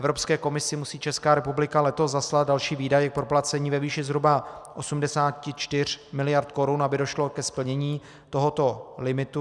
Evropské komisi musí Česká republika letos zaslat další výdaje k proplacení ve výši zhruba 84 miliard korun, aby došlo ke splnění tohoto limitu.